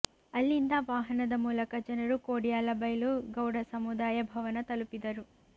ಅಲ್ಲಿಂದ ವಾಹನದ ಮೂಲಕ ಜನರು ಕೊಡಿಯಾಲಬೈಲು ಗೌಡ ಸಮುದಾಯ ಭವನ ತಲುಪಿದರು